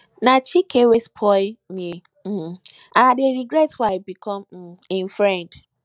na chike wey spoil me um and i dey regret why i become um im friend